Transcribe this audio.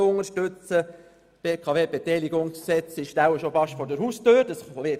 Das BKWBeteiligungsgesetz (BKWG) dürfte bereits vor der Haustüre stehen.